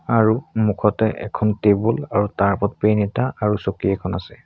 আৰু সন্মুখতে এখন টেবুল আৰু তাৰ ওপৰত পেন এটা আৰু চকী এখন আছে।